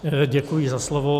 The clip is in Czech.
Děkuji za slovo.